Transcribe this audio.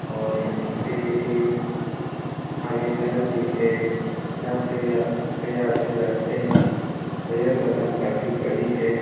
और यहाँ पे एक आगे घर भी है यहाँ पे कई आदमी रहते हैं और यह बगान काफी बड़ी है ।